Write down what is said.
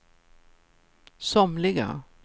somliga